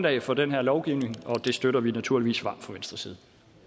er for den her lovgivning og det støtter vi naturligvis varmt fra venstres side